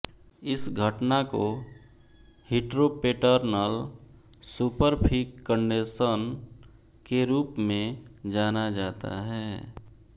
इस घटना को हीट्रोपेटर्नल सुपरफिकन्डेशन के रूप में जाना जाता है